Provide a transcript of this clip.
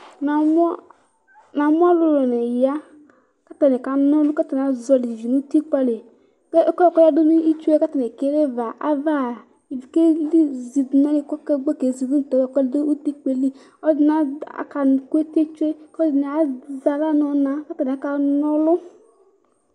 namʊ ɔlʊlʊnɩ ya, kʊ atanɩ kana ɔlʊ, kʊ atanɩ ka zɔlɩ ivi nʊ utikpǝ li, ivi yɛ kezidʊ nʊ ɛkʊ yɛ kʊ atanɩ ekele yɛ li kʊ atʊnʊ ɛfɛ tsi kezidʊ tsue nʊ utikpǝ, aluɛdɩnɩ kakʊ eti tsue, aluɛdɩnɩ ama aɣla nʊ inǝgǝ kʊ aka nɔlʊ